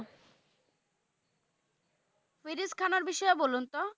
ফিরোজ খানের বিষয়ে বলুন তো?